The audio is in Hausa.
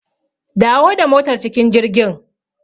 Dawo da motar cikin jirgin.